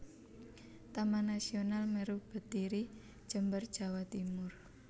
Taman Nasional Meru Betiri Jember Jawa Timur